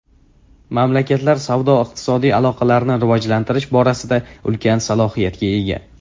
Mamlakatlar savdo-iqtisodiy aloqalarni rivojlantirish borasida ulkan salohiyatga ega.